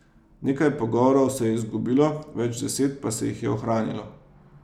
Nekaj pogovorov se je izgubilo, več deset pa se jih je ohranilo.